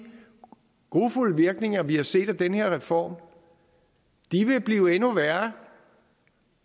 grufulde virkninger vi har set af den her reform blive endnu værre